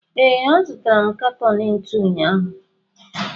ee, azụtara m katọn ntu ụnyaahụ